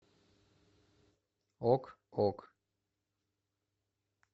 ок ок